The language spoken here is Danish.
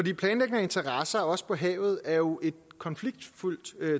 af interesser også på havet er jo et konfliktfyldt